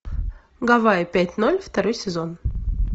гавайи пять ноль второй сезон